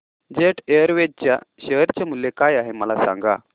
jet Airways च्या share चे मूल्य काय आहे मला सांगा